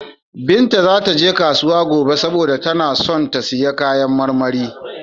Binta za ta je kasuwa gobe saboda tana son siyan kayan marmari.